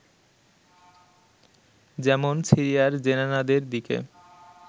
যেমন সিরিয়ার জেনানাদের দিকে